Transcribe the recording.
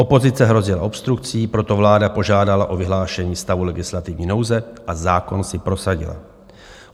Opozice hrozila obstrukcí, proto vláda požádala o vyhlášení stavu legislativní nouze a zákon si prosadila.